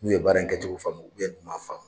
N'u ye baara kɛcogo faamu n'u m'a faamu.